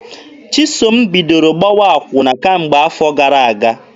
Chisom bidoro gbawa akwụna kemgbe afọ gara aga.